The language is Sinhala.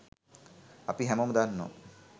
අපි හැමොම දන්නවා